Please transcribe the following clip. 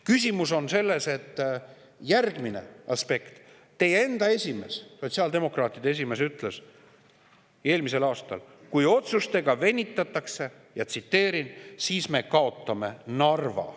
Küsimus on selles, see on järgmine aspekt, et teie enda esimees, sotsiaaldemokraatide esimees, ütles eelmisel aastal, et kui otsustega venitatakse, ma tsiteerin, "siis me kaotame Narva".